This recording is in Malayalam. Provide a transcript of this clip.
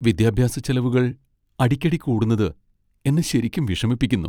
വിദ്യാഭ്യാസച്ചെലവുകൾ അടിക്കടി കൂടുന്നത് എന്നെ ശരിക്കും വിഷമിപ്പിക്കുന്നു.